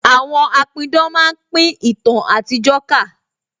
Àwọn apidán máa pin ìtàn àtijó ká